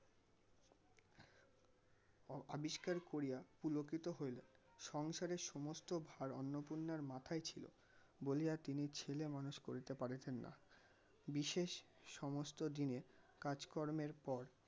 ~ আবিস্কার করিয়া পুলকিত হইলো. সংসারের সমস্ত ভার অন্নপূর্ণার মাথায় ছিল বলিয়া তিনি ছেলে মানুষ করিতে পারিছেন না বিশেষ সমস্ত দিনের কাজকর্মের পর